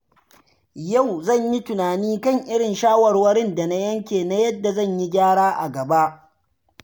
Yau zan yi tunani kan irin shawarwarin da na yanke na yadda zan yi gyara a gaba.